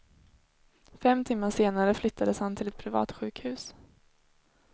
Fem timmar senare flyttades han till ett privatsjukhus.